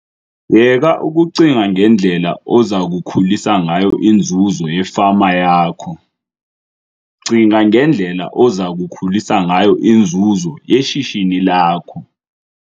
Yeka ukucinga ngendlela oza kukhulisa ngayo inzuzo yefama yakho, cinga ngendlela oza kukhulisa ngayo inzuzo yeshishini lakho!